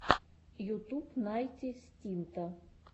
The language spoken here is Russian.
ютуб найти стинта